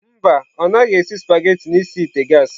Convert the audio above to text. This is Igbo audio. Mba, ọ naghị esi spaghetị n'isi ite gas.